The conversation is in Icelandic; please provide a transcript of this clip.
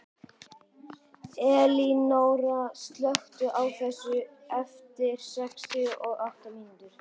Elinóra, slökktu á þessu eftir sextíu og átta mínútur.